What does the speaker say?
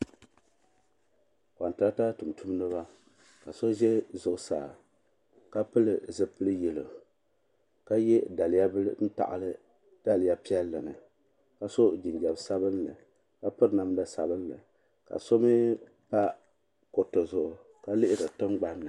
kontarata tumtumdiba ka so ʒɛ zuɣusaa ka pili zipil yelo ka ye daliya bila n taɣili daliya piɛli ni ka so jinjiɛm sabinli ka piri namda sabinli ka so mee pa kuriti zuɣu ka lihiri tingbani.